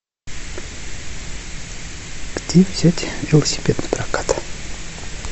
где взять велосипед на прокат